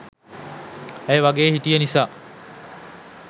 අය වගේ හිටිය නිසා